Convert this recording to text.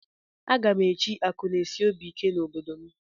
Aga m echi akụnaesiobiike na obodo m